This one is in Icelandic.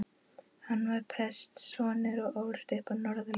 Hann var prestssonur og ólst upp á Norðurlandi.